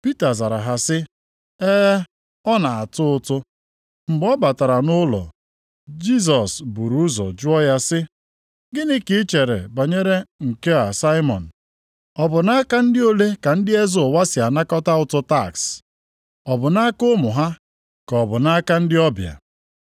Pita zara ha sị, “E, ọ na-atụ ụtụ.” Mgbe ọ batara nʼụlọ, Jisọs buru ụzọ jụọ ya sị, “Gịnị ka i chere banyere nke a Saimọn? Ọ bụ nʼaka ndị ole ka ndị eze ụwa si anakọta ụtụ taks? Ọ bụ nʼaka ụmụ ha, ka ọ bụ nʼaka ndị ọbịa?”